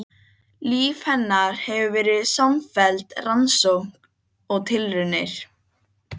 Líf hennar hefur verið samfelld rannsókn og tilraunir.